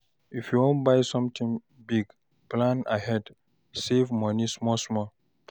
If you wan buy sometin big, plan ahead, save moni small small.